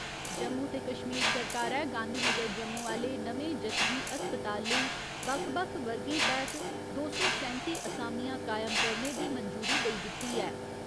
जम्मू ते कश्मीर सरकारै गांधीनगर जम्मू आह्‌ले नमें जच्चगी अस्पताल लेई बक्ख बक्ख वर्गें तैह्त दो सौ सैंत्ती असामियां कायम करने दी मंजूरी देई दित्ती ऐ।